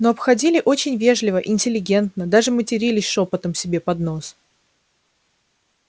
но обходили очень вежливо интеллигентно даже матерились шёпотом себе под нос